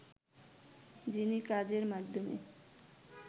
যিনি কাজের মাধ্যমে